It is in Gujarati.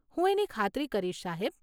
હું એની ખાતરી કરીશ સાહેબ.